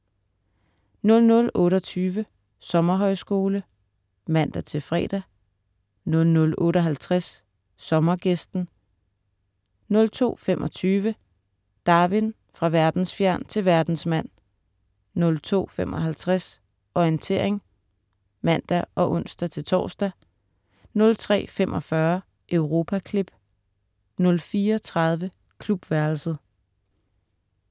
00.28 Sommerhøjskole* (man-fre) 00.58 Sommergæsten* 02.25 Darwin: Fra verdensfjern til verdensmand* 02.55 Orientering* (man og ons-tors) 03.45 Europaklip* 04.30 Klubværelset*